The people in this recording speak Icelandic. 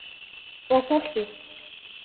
Og fólkið?